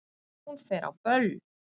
Hún fer á böll!